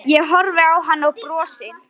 Ég horfi á hann og brosi.